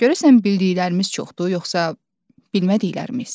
Görəsən bildiklərimiz çoxdur, yoxsa bilmədiklərimiz?